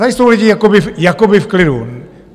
Tady jsou lidi jakoby v klidu.